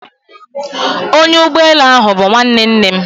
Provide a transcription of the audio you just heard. Onya ugboelu ahu bu nwanne nne m